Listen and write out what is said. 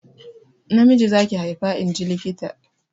Namiji za ki haifa inji likita.